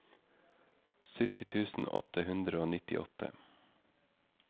sytti tusen åtte hundre og nittiåtte